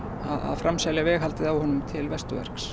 framselja veghaldið á honum til